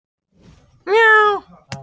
Kosið verður eftir tæpan mánuð.